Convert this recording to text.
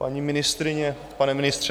Paní ministryně, pane ministře.